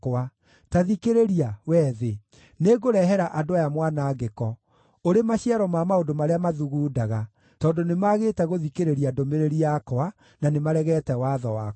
Ta thikĩrĩria, wee thĩ: nĩngũrehere andũ aya mwanangĩko, ũrĩ maciaro ma maũndũ marĩa mathugundaga, tondũ nĩmagĩte gũthikĩrĩria ndũmĩrĩri yakwa, na nĩmaregete watho wakwa.